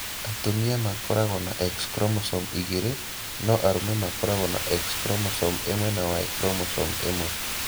Atumia makoragwo na X chromosome igĩrĩ, no arũme makoragwo na X chromosome ĩmwe na Y chromosome ĩmwe.